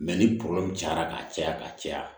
ni cayara ka caya ka caya